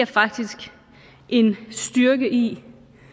faktisk ser en styrke i